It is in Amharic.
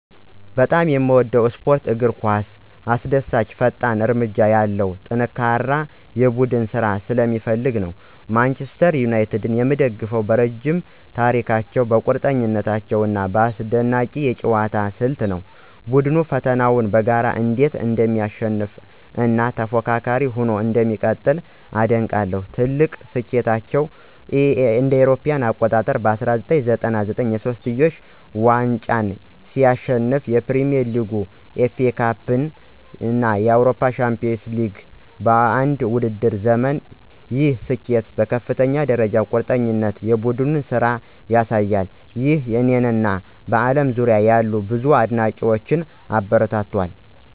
በጣም የምወደው ስፖርት እግር ኳስ አስደሳች፣ ፈጣን እርምጃ ያለው እና ጠንካራ የቡድን ስራን ስለሚፈልግ ነው። ማንቸስተር ዩናይትድን የምደግፈው በረዥም ታሪካቸው፣ በቆራጥነታቸው እና በአስደናቂ የአጨዋወት ስልት ነው። ቡድኑ ፈተናዎችን በጋራ እንዴት እንደሚያሸንፍ እና ተፎካካሪ ሆኖ እንደሚቀጥል አደንቃለሁ። ትልቁ ስኬታቸው እ.ኤ.አ. በ1999 የሶስትዮሽ ዋንጫን ሲያሸንፉ ፕሪሚየር ሊግ፣ ኤፍኤ ካፕ እና የአውሮፓ ቻምፒዮንስ ሊግ በአንድ የውድድር ዘመን፣ ይህ ስኬት በከፍተኛ ደረጃ ቁርጠኝነት እና የቡድን ስራን ያሳያል። ይህ እኔን እና በአለም ዙሪያ ያሉ ብዙ አድናቂዎችን አበረታቷል